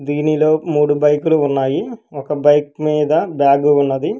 దీనిలో మూడు బైకులు ఉన్నాయి ఒక బైక్ మీద బ్యాగు ఉన్నది.